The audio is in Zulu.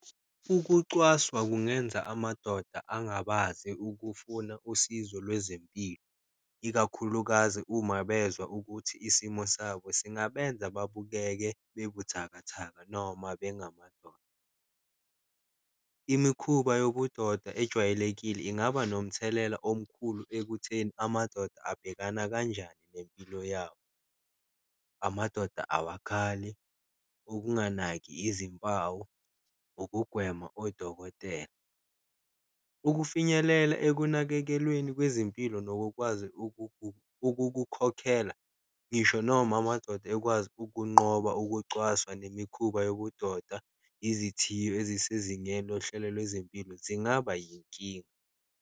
Ukucwaswa kungenza amadoda angabaze ukufuna usizo lwezempilo, ikakhulukazi uma bezwa ukuthi isimo sabo singasebenza babukeke bekuthakathaka, noma bengamadoda. Imikhuba yobudoda ejwayelekile ingaba nomthelela omkhulu ekutheni amadoda abhekana kanjani nempilo yawo, amadoda awakhali, ukunganaki izimpawu, ukugwema odokotela. Ukufinyelela ekunakekelweni kwezempilo, nokukwazi ukukukhokhela ngisho noma amadoda ekwazi ukunqoba ukucwaswa nemikhuba yobudoda, izithiyo ezisezingeni lohlelo lwezempilo zingaba yinkinga.